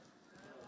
Ümumiyyətlə sənin.